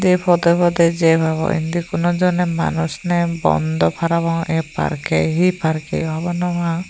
ei pode pode jei pebo indi konojone manush nei bondo parapang ei parke hee parke hobor no pang.